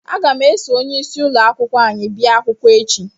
Aga m eso onyeisi ụlọ akwụkwọ anyị bịa akwụkwọ echi